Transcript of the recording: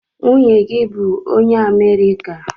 Nwunye gi bu onye America?